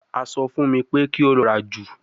A sọ fun mi pe ki o lọ ra ju